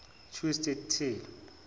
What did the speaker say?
twist at tail